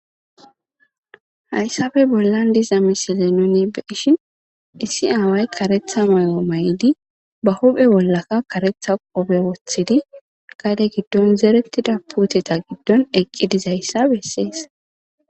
Hayssafe bollan diza misile nonibe ishin issi aaway karetha may7o may7di ba huphe bollaka karetha qobe wothidi gade giddon zerettida puuteta giddon eqqidizayssa bessees.